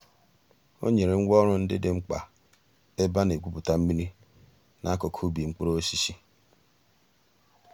ọ̀ nyèrè ngwá òrụ̀ ńdí dị̀ m̀kpa mǎká èbè a nà-ègwùpùtà mmìrì n'àkùkò ǔbì mkpụrụ̀ òsísì.